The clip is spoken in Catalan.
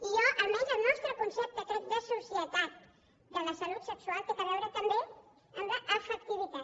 i per mi almenys el nostre concepte crec de societat de la salut sexual té a veure també amb l’afectivitat